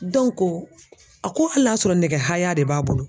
a ko hali n'a sɔrɔ nɛgɛ haya de b'a bolo